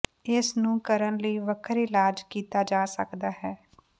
ਇਸ ਨੂੰ ਕਰਨ ਲਈ ਵੱਖਰੇ ਇਲਾਜ ਕੀਤਾ ਜਾ ਸਕਦਾ ਹੈ